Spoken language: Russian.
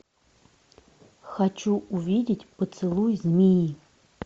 хочу увидеть поцелуй змеи